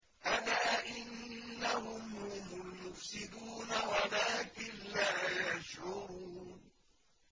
أَلَا إِنَّهُمْ هُمُ الْمُفْسِدُونَ وَلَٰكِن لَّا يَشْعُرُونَ